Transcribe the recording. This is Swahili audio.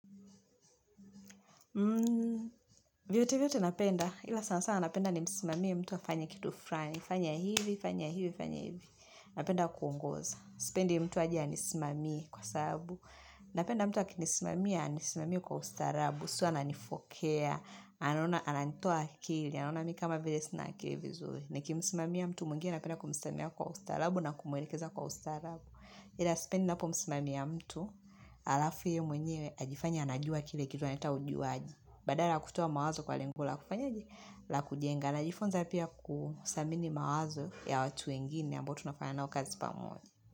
Vyote vyote napenda, ila sana sana napenda nimsimamie mtu afanye kitu frani, fanya hivi, fanya hivi, fanya hivi, napenda kuungoza, sipendi mtu aje anisimamie kwa sabu, napenda mtu akinisimami anisimami kwa ustarabu, sio ananifokea, ananitoa akili, anaona mi kama vile sina akili vizu, nikimsimamia mtu mwengine napenda kumsimamia kwa ustarabu na kumwelekeza kwa ustarabu, ila sipendi napomsimamia mtu, alafu ye mwenye ajifanye anajua kile kitu analeta ujuaji. Badala ya kutoa mawazo kwa lengo la kufanyaje la kujenga, najifunza pia kusamini mawazo ya watu wengine ambao tunafanya nao kazi pamoja.